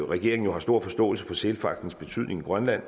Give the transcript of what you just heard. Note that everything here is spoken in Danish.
regeringen har stor forståelse for sælfangstens betydning i grønland